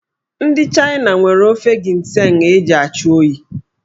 Ndị China nwere ofe ginseng eji achụ oyi.